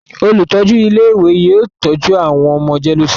Olùtọ́jú ilé-ìwé yóò tọ́jú àwọn ọmọ jẹ́léósinmi.